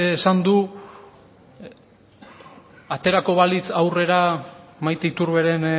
esan du aterako balitz aurrera maite iturberen